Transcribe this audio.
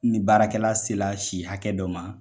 Ni baarakɛla se la si hakɛ dɔ ma.